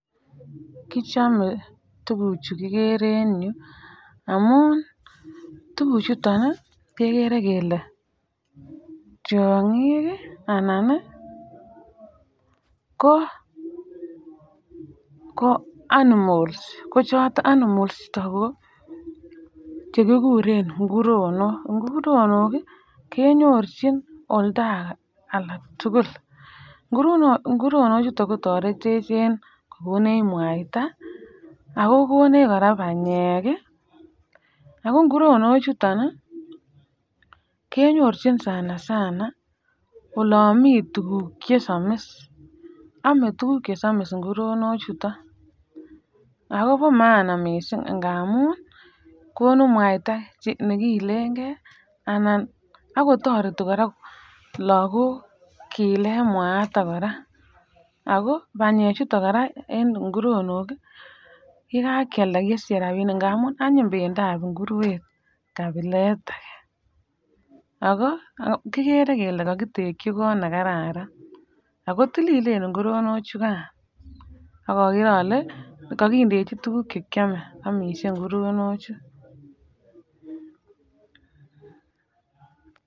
Kichame tuguchu igere en yu amu tuguk chuton kegere kele tiongik anan ko ko animals ko choton ko animals ichuton ko chekikuren nguronok , nguronok kenyorchin olda alak tugul nguronok ichuton kotoretech en kokonech mwaita ,ago konech koraa banyek ,ago nguronok chuton koraa kenyorchin sana sana oloon mi tuguk chesomis ame tuguk chesomis nguronok chuton ago bo maana miisik kamun konu mwaita ne kiileegee anan ago toreti koraa lagok kiilen mwaita noton koraa ago banyek chuton en nguronok yekankealda kesiche rabinik ngamun anyiny bendab ngurwet kabilet age ago kigere kele kakitengyi kot nekararan ago tililen nguronok chukaan ak agere ale kakindechi tuguk che ame amishe ngurono chu.